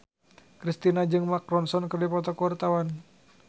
Kristina jeung Mark Ronson keur dipoto ku wartawan